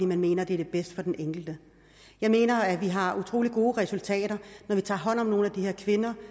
man mener at det er det bedste for den enkelte jeg mener at vi har utrolig gode resultater når vi tager hånd om nogle af de her kvinder